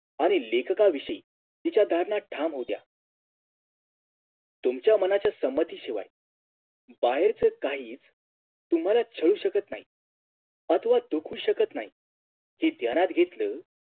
आणि लेखका विषयी तिच्या धारणा ठाम होत्या तुमच्या मनाच्या संमती शिवाय बाहेरच काहीच तुम्हाला छळू शकत नाहीत अथवा दुखवू शकत नाहीत ते ध्यानात घेतलं